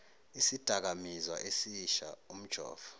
isidakamizwa esisha umjovo